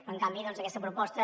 en canvi doncs aquesta proposta